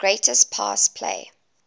greatest pass play